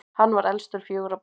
hann var elstur fjögurra barna